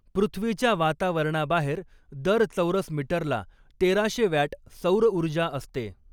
पृथ्वीच्या वातावरणाबाहेर दर चौरस मीटरला तेरा शे वॅट सौरऊर्जा असते.